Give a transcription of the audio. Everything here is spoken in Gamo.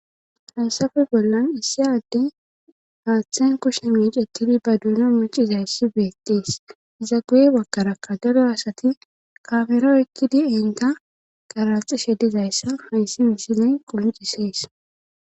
Hansafe bollan issi addey aaththen kushsa micettidi ba duuna mucizayssi beetties iza guye wakarakka dado asati kafero ekkidi inka qaralxishe dizayssa hayssi miisine qoncisees